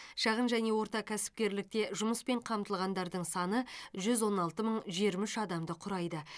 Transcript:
шағын және орта кәсіпкерлікте жұмыспен қамтылғандардың саны жүз он алты мың жиырма үш адамды құрайды